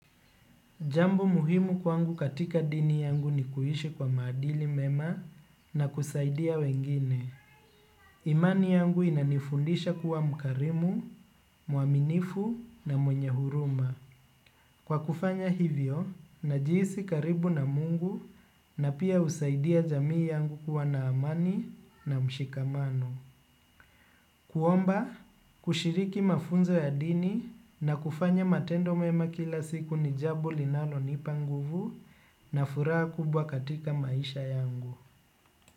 Jambo muhimu kwangu katika dini yangu ni kuishi kwa maadili mema na kusaidia wengine. Imani yangu inanifundisha kuwa mkarimu, muaminifu na mwenye huruma. Kwa kufanya hivyo, najihisi karibu na mungu na pia husaidia jamii yangu kuwa na amani na mshikamano. Kuomba, kushiriki mafunzo ya dini na kufanya matendo mema kila siku ni jambo linalo nipa nguvu na furaha kubwa katika maisha yangu.